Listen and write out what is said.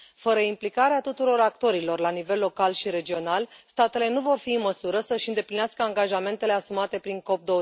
Fără implicarea tuturor actorilor la nivel local și regional, statele nu vor fi în măsură să și îndeplinească angajamentele asumate prin COP